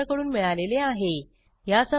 यासंबंधी माहिती पुढील साईटवर उपलब्ध आहे